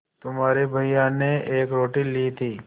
तुम्हारे भैया ने एक रोटी ली थी